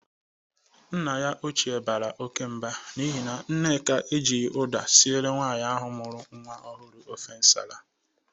Nne ya ochie bara oke mba n'ihi na Nneka e jighi ụda sire nwaanyị ahụ mụru nwa ọhụrụ ofe nsala.